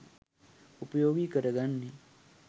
උපයෝගි කරගන්නේ